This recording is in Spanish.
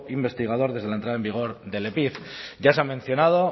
investigador desde la entrada en vigor del epif ya se ha mencionado